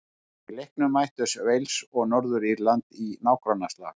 Í leiknum mættust Wales og Norður-Írland í nágrannaslag.